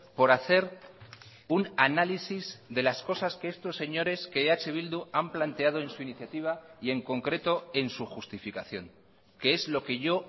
por hacer un análisis de las cosas que estos señores que eh bildu han planteado en su iniciativa y en concreto en su justificación que es lo que yo